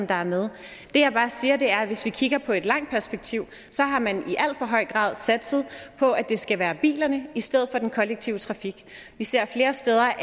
der er med det jeg bare siger er at hvis vi kigger på et langt perspektiv har man i alt for høj grad satset på at det skal være bilerne i stedet for den kollektive trafik vi ser flere steder